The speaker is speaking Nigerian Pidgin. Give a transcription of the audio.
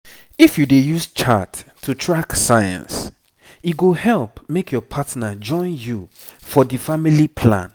if you dey use chart to track signs e go help make your partner join you for the family plan